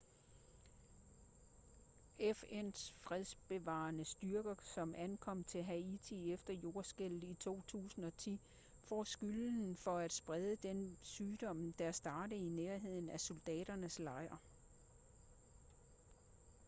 fn's fredsbevarende styrke som ankom til haiti efter jordskælvet i 2010 får skylden for at sprede den sygdom der startede i nærheden af soldaternes lejr